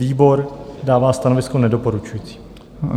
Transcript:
Výbor dává stanovisko nedoporučující.